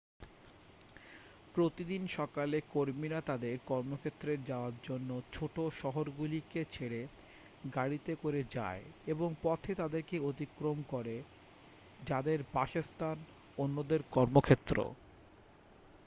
প্রতিদিন সকালে কর্মীরা তাদের কর্মক্ষেত্রে যাওয়ার জন্য ছোটো শহরগুলিকে ছেড়ে গাড়িতে করে যায় এবং পথে তাদেরকে অতিক্রম করে যাদের বাসস্থান অন্যদের কর্মক্ষেত্র